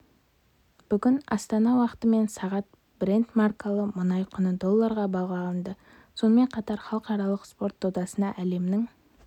бүгін астана уақытымен сағат брент маркалы мұнай құны долларға бағаланды сонымен қатар халықаралық спорт додасына әлемнің